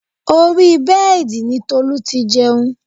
Orí bẹ́ẹ̀dì ni Tolu ti jẹun